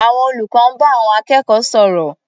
Àwọn olùkọ́ ń bá àwọn akẹ́kọ̀ọ́ sọ̀rọ̀.